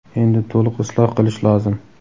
endi to‘liq isloh qilish lozim.